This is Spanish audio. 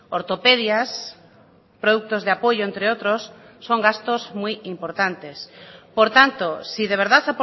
ortopedias productos de apoyo entre otros son gastos muy importantes por tanto si de verdad